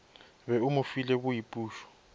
be o mo file boipušo